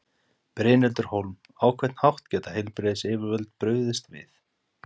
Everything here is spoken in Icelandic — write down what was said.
Brynhildur Hólm: Á hvern hátt geta heilbrigðisyfirvöld brugðist við?